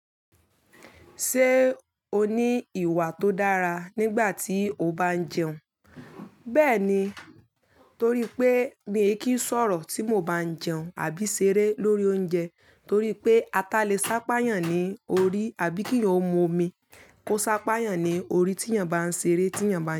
Ṣé o ní ìwà tó dára nígbà tí o bá ń jẹun? Bẹ́ẹ̀ni, torí pé mi e kí ń sọ̀rọ̀ tí mo bá ń jẹun àbí ṣeré lórí oúnjẹ torí pé ata le sápayàn ní orí, àbí kí òún mu omi, ó sápayàn ní orí tí èèyàn bá ń ṣeré tí èèyàn bá ń.